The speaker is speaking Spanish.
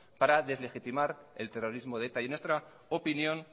para deslegitimar el terrorismo de eta en nuestra opinión